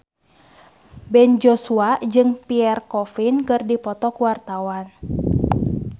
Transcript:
Ben Joshua jeung Pierre Coffin keur dipoto ku wartawan